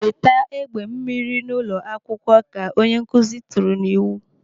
"Weta egbe mmiri n'ụlọ akwụkwọ!" Ka onye nkụzi tụrụ n'iwu.